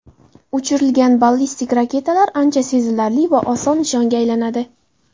Uchirilgan ballistik raketalar ancha sezilarli va oson nishonga aylanadi.